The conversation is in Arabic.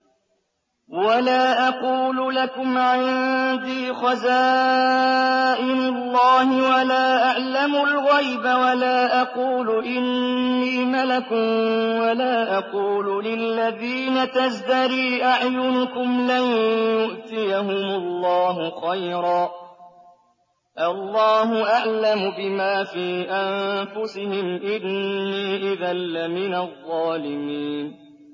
وَلَا أَقُولُ لَكُمْ عِندِي خَزَائِنُ اللَّهِ وَلَا أَعْلَمُ الْغَيْبَ وَلَا أَقُولُ إِنِّي مَلَكٌ وَلَا أَقُولُ لِلَّذِينَ تَزْدَرِي أَعْيُنُكُمْ لَن يُؤْتِيَهُمُ اللَّهُ خَيْرًا ۖ اللَّهُ أَعْلَمُ بِمَا فِي أَنفُسِهِمْ ۖ إِنِّي إِذًا لَّمِنَ الظَّالِمِينَ